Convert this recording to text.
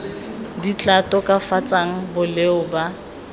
di tla tokafatsang boleng ba